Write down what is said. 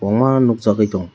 omo aro nug jagui tongo.